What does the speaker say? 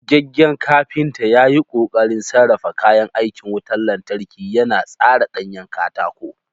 Gogaggen kafinta ya yi ƙoƙarin sarrafa kayan aikin wutar lantarki, yana tsara ɗanyen katako.